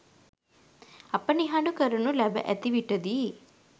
අප නිහඬ කරනු ලැබ ඇති විටදීයි.